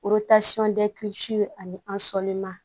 ani an sɔlima